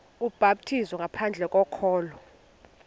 ubhaptizo ngaphandle kokholo